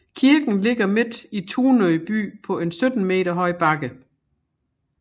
Kirken ligger midt i Tunø by på en 17 meter høj bakke